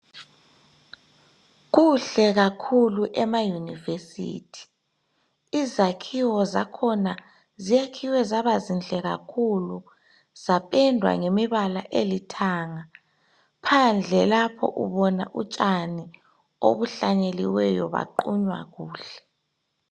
Kuhle kakhulu emayunivesithi izakhiwo zakhona zakhiwe zaba zinhle kakhulu zapendwa ngemibala elithanga phandle lapho ubona utshani obuhlanyeliweyo baqunywa kuhle.